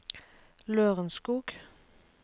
Lørenskog